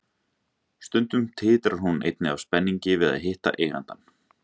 Stundum titrar hún einnig af spenningi við að hitta eigandann.